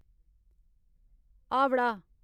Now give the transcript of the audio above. Howrah